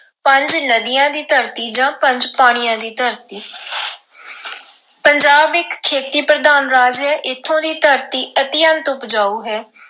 ਪੰਜ ਨਦੀਆਂ ਦੀ ਧਰਤੀ ਜਾਂ ਪੰਜ ਪਾਣੀਆਂ ਦੀ ਧਰਤੀ ਪੰਜਾਬ ਇੱਕ ਖੇਤੀ ਪ੍ਰਧਾਨ ਰਾਜ ਹੈ ਇੱਥੋਂ ਦੀ ਧਰਤੀ ਅਤਿਅੰਤ ਉਪਜਾਊ ਹੈ।